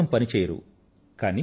వాటి కోసం పని చెయ్యరు